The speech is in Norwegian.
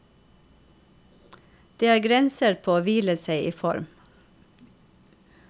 Det er grenser på å hvile seg i form.